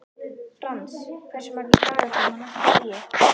Frans, hversu margir dagar fram að næsta fríi?